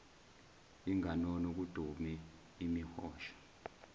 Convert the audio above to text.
inganono kudume imihosha